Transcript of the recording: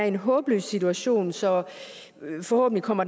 en håbløs situation så forhåbentlig kommer